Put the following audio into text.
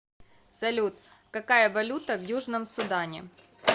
салют какая валюта в южном судане